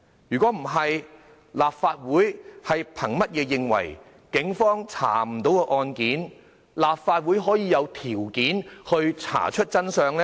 否則的話，立法會憑甚麼認為警方也查不出的案件，立法會會有條件查出真相呢？